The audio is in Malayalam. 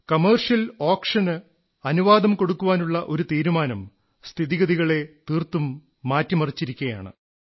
കൊമേഴ്സ്യൽ ഓക്ഷന് അനുവാദം കൊടുക്കാനുള്ള ഒരു തീരുമാനം സ്ഥിതിഗതികളെ തീർത്തും മാറ്റിമറിച്ചിരിക്കയാണ്